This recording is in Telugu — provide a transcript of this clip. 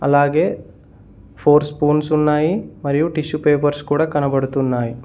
అలాగే ఫోర్ స్పూన్స్ ఉన్నాయి మరియు టిష్యూ పేపర్స్ కూడా కనబడుతున్నాయి.